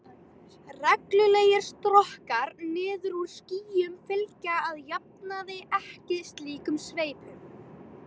Reglulegir strokkar niður úr skýjum fylgja að jafnaði ekki slíkum sveipum.